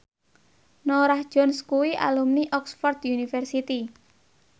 Norah Jones kuwi alumni Oxford university